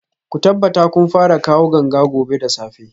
Ku tabbata kun fara kawo ganga gobe da safe